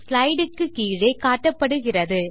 slideக்கு கீழே காட்டப்படுகிறது